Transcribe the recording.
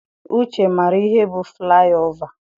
Uche maara ihe bụ flaị ova.